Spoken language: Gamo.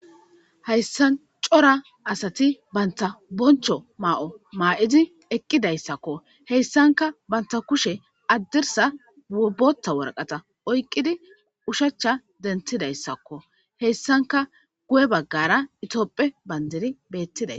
Hayssan cora asati banta boncho maa'o maa'izi eqqidayssakko heyssanka banta kushe addirsa obota worqata oyqqidi ushachcha dentidayssakko heyssanka guye baggara itooppe bandiri beettiday